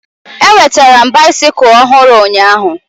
Enwetere m baisikụl ọhụrụ ụnyaahụ